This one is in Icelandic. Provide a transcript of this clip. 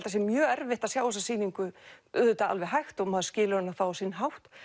það sé mjög erfitt að sjá þessa sýningu auðvitað alveg hægt og maður skilur hana á sinna hátt